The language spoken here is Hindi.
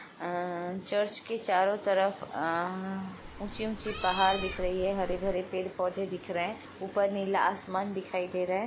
अ चर्च के चारों तरफ अ ऊंची-ऊंची पहाड़ दिख रही है हरी-भरे पेड़-पौधे दिख रहे हैं ऊपर नीला आसमान दिखाई दे रहा है।